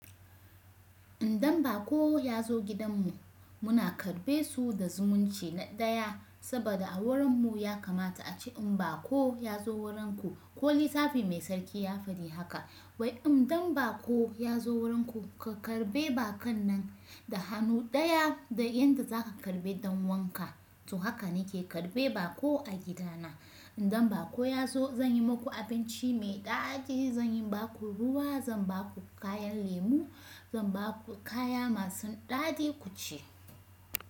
Indan baƙo ya zo gidanmu muna karbe su da zumunci na ɗaya saboda a wurinmu ya kamata ace in baƙo ya zo wuranku ko littafi mai tsarki ya faɗi haka wai in dan baƙo ya zo wuranku ka karɓe baƙan nan da hannu ɗaya da yadda za ka karɓe dan wanka. To haka nake karɓe baƙo a gidana. Indan baƙo ya zo zan yi maku abinci mai daɗi, zan yi baƙu ruwa, zan ba ku kayan lemu, zan ba ku kaya masu daɗi ku ci.